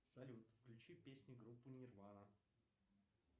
салют включи песни группы нирвана